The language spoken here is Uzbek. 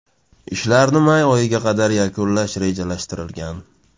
Ishlarni may oyiga qadar yakunlash rejalashtirilgan.